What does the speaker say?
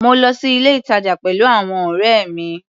Mo lọ sí ilé-ìtàjà pẹ̀lú àwọn ọ̀rẹ́ mi.